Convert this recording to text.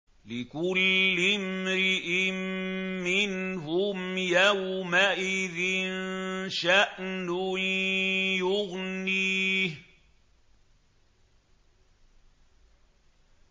لِكُلِّ امْرِئٍ مِّنْهُمْ يَوْمَئِذٍ شَأْنٌ يُغْنِيهِ